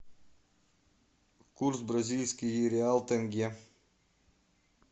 курс бразильский реал тенге